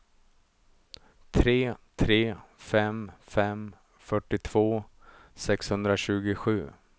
tre tre fem fem fyrtiotvå sexhundratjugosju